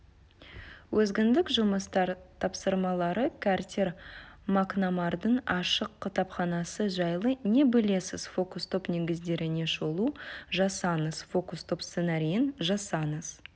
өзіндік жұмыстар тапсырмалары картер макнамардың ашық кітапханасы жайлы не білесіз фокус-топ негіздеріне шолу жасаңыз фокус-топ сценарийін жасаңыз